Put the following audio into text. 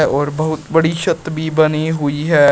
और बहुत बड़ी छत भी बनी हुई है।